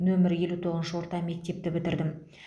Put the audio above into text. нөмір елу тоғызыншы орта мектепті бітірдім